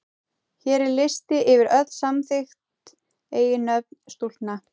Hér er listi yfir öll samþykkt eiginnöfn stúlkna.